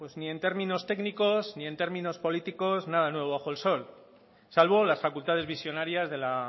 bueno pues ni en términos técnicos ni en términos políticos nada nuevo bajo el sol salvo las facultades visionarias de la